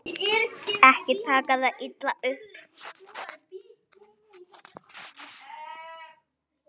Ekki taka það illa upp.